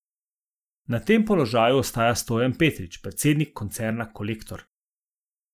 Na tem položaju ostaja Stojan Petrič, predsednik koncerna Kolektor.